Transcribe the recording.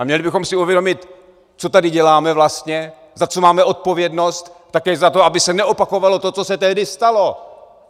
A měli bychom si uvědomit, co tady děláme vlastně, za co máme odpovědnost - také za to, aby se neopakovalo to, co se tehdy stalo.